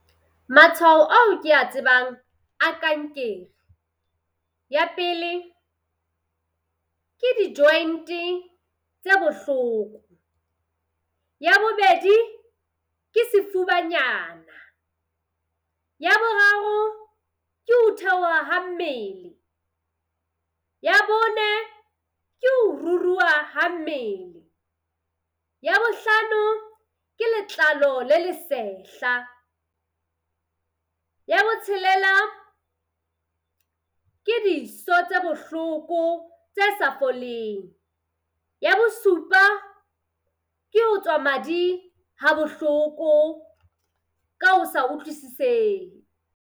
Matshwao ao kea tsebang a kankere. Ya pele ke di-joint tse bohloko. Ya bobedi ke sefubanyana. Ya boraro ke ho theoha ha mmele. Ya bone ke ho ruruha ha mmele. Ya bohlano ke letlalo le le sehla. Ya botshelela ke diso tse bohloko tse sa foleng. Ya bosupa ke ho tswa madi ha bohloko ka ho sa utlwisisehe.